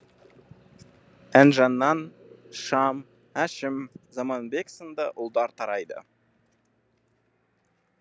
әнжаннан шам әшім заманбек сынды ұлдар тарайды